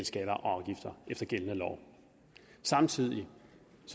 skatter og afgifter efter gældende lov samtidig